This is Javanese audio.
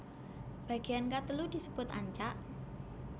Bagean katelu disebut ancak